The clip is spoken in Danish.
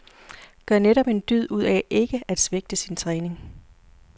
Gør netop en dyd ud af ikke at svigte sin træning.